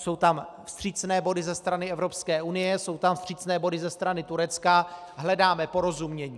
Jsou tam vstřícné body ze strany Evropské unie, jsou tam vstřícné body ze strany Turecka, hledáme porozumění.